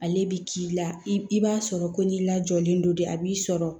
Ale bi k'i la i b'a sɔrɔ ko n'i lajɔlen don de a b'i sɔrɔ